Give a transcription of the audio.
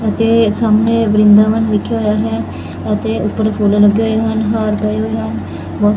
ਅਤੇ ਸਾਹਮਣੇ ਵਰਿੰਦਾਵਨ ਵਿਖੇ ਹੋਇਆ ਹੈ ਅਤੇ ਉੱਪਰ ਖੋਲਣ ਲੱਗੇ ਹੋਏ ਹਨ ਹਾਰ ਗਏ ਹੋਏ ਹਨ।